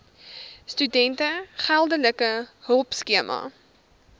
studente geldelike hulpskema